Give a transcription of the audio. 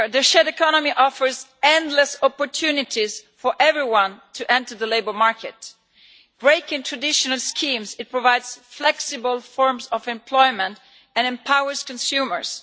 Madam President, the shared economy offers endless opportunities for everyone to enter the labour market. Breaking traditional schemes, it provides flexible forms of employment and empowers consumers.